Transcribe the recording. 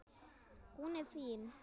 Hún er fín.